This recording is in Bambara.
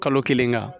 Kalo kelen kan